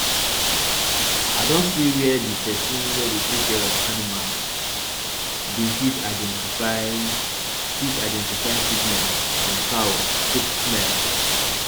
i don see where di person wey dey take care of animals bin fit identify fit identify sickness from cow poo smell